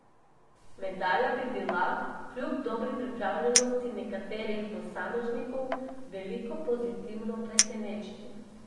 Medalja bi bila kljub dobri pripravljenosti nekaterih posameznikov veliko pozitivno presenečenje.